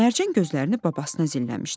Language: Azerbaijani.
Mərcan gözlərini babasına zilləmişdi.